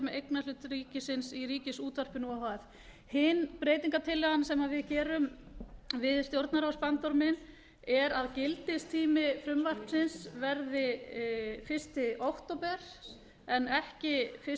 eignarhlut ríkisins í ríkisútvarpinu o h f hin breytingartillagan sem við gerum við stjórnarráðsbandorminn er að gildistími frumvarpsins verði fyrsta október en ekki fyrsta